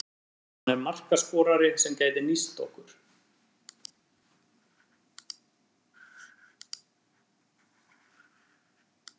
Hann er markaskorari sem gæti nýst okkur.